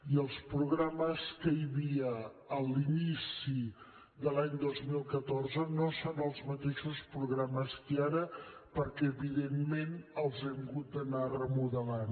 i els programes que hi havia a l’inici de l’any dos mil catorze no són els mateixos programes que hi ha ara perquè evidentment els hem hagut d’anar remodelant